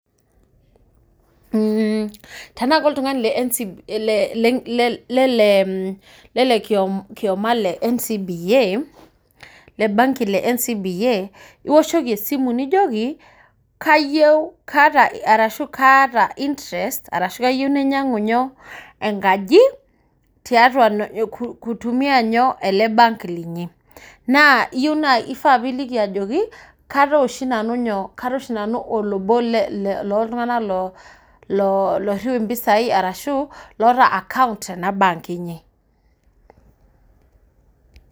Mmh tana ka oltau le ncba le le lelelioma le ncba le banki le ncba nioshoki esimu nijoki kayieu kaata intrest arashu kayieu nainyangu nyoo enkaji tiatua nyo kutumia ele bank linyi ifaapiliki ajoki kataa oshi nanu nyo olobo le loltunganak loiriu mbisai loota account tena bank inyi